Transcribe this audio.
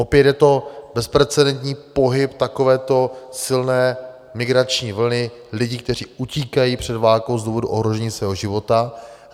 Opět je to bezprecedentní pohyb takovéto silné migrační vlny lidí, kteří utíkají před válkou z důvodu ohrožení svého života.